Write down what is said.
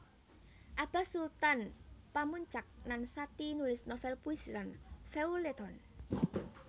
Abas Sutan Pamuntjak Nan Sati nulis novel puisi lan feuilleton